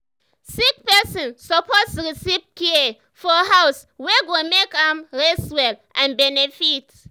sick person suppose receive care for house wey go make am rest well and benefit.